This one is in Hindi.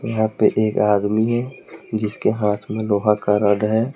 यहां पे एक आदमी है जिसके हाथ में लोहा का रॉड है।